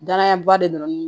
Danayaba de don